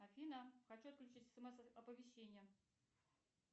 афина хочу отключить смс оповещение